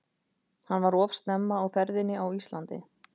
Hann var of snemma á ferðinni á Íslandi.